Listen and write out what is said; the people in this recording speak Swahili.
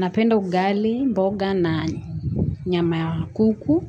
Napenda ugali, mboga na nyama ya kuku